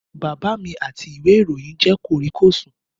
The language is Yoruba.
Bàbá mi àti ìwé ìròyìn jẹ́ kòríkòsùn